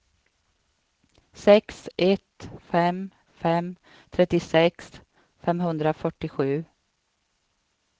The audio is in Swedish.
sex ett fem fem trettiosex femhundrafyrtiosju